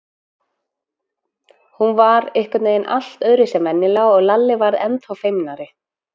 Hún var einhvern veginn allt öðruvísi en venjulega og Lalli varð ennþá feimnari.